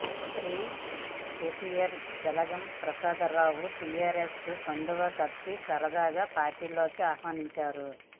మంత్రి కేటీఆర్ జలగం ప్రసాదరావుకు టీఆర్ఎస్ కండువా కప్పి సాదరంగా పార్టీలోకి ఆహ్వానించారు